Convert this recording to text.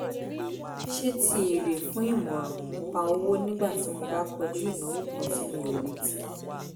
ṣe ti èrè fún ìmọ̀ràn nípa owó nígbà tí mo bá kojú ìnáwó kan tí mi ò retí